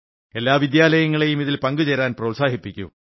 എല്ലാ വിദ്യാലയങ്ങളെയും ഇതിൽ പങ്കുചേരാൻ പ്രോത്സാഹിപ്പിക്കൂ